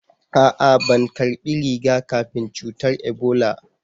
A'a ban karɓi riga-kafin cutar Ibola.